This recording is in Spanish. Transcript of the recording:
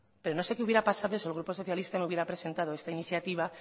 pero no sé que hubiera pasado desde el grupo socialista no hubiera presentado esta iniciativa